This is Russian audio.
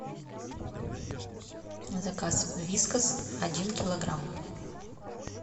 заказ вискас один килограмм